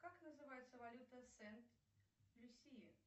как называется валюта сент люсии